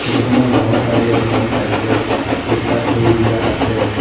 Photo খনৰ বাওঁ চাইদ এ এখন চাইকেল ৰিক্সা থৈ দিয়া আছে।